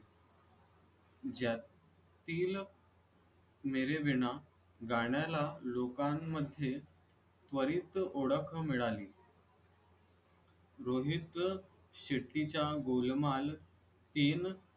ज्यातील मेरे बिना लोकांमध्ये त्वरित ओळख मिळाली रोहित शेट्टी च्या गोलमाल तीन